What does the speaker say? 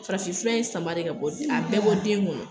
Farafin fura in sama de k'a bɔ a bɛɛ bɔ den kɔnɔ.